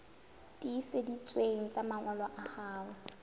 tiiseditsweng tsa mangolo a hao